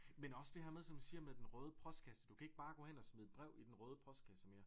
Men også det her med som siger med den røde postkasse du kan ikke bare gå hen og smide et brev i den røde postkasse mere